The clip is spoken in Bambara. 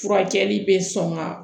Furakɛli bɛ sɔn ka